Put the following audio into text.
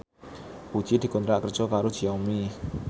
Puji dikontrak kerja karo Xiaomi